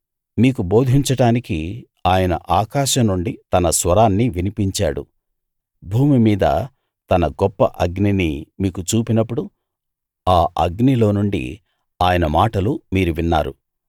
మీకు బోధించడానికి ఆయన ఆకాశం నుండి తన స్వరాన్ని వినిపించాడు భూమి మీద తన గొప్ప అగ్నిని మీకు చూపినప్పుడు ఆ అగ్నిలో నుండి ఆయన మాటలు మీరు విన్నారు